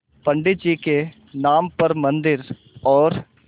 पंडित जी के नाम पर मन्दिर और